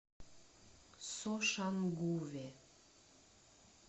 сошангуве